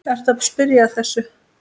Ertu að spyrja að þessu?